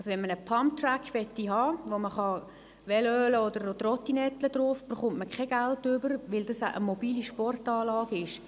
Möchte man also einen Pumptrack haben, auf dem man Velo oder Trottinett fahren könnte, erhält man kein Geld, weil es eine mobile Sportanlage ist.